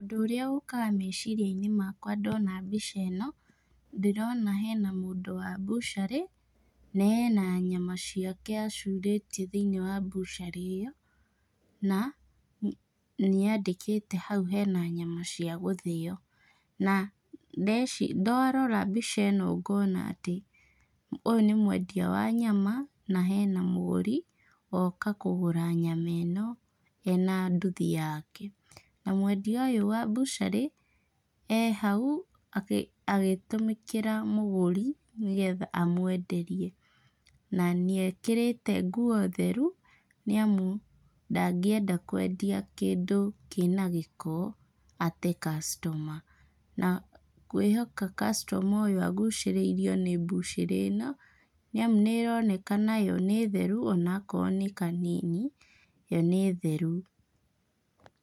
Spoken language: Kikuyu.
Ũndũ ũrĩa ũkaga meciria-inĩ makwa ndona mbica ĩno, ndĩrona hena mũndũ wa mbũcarĩ, na ena nyama ciake acurĩtie thĩiniĩ wa mbũcarĩ ĩyo, na nĩ andĩke hau hena nyama cia gũthĩo , na ndeci ndarora mbica ĩno ngona atĩ ũyũ nĩ mwendia wa nyama , na hena mũgũri woka kũgũra nyama ĩno ena nduthi yake, na mwendia ũyũ wa mbũcarĩ arĩ hau agĩ akĩtũmĩkĩra mũgũri , nĩgetha amwenderie, na nĩ ekĩrĩte nguo theru, nĩ amu ndagĩenda kwendia kĩndũ kĩna gĩko ate customer ,na ngwĩhoka customer ũyũ agũcĩrĩirio nĩ mbũcĩrĩ ĩno , nĩ amũ nĩ ĩronekana yo nĩ theru, ona akorwo nĩ kanini, yo nĩ theru.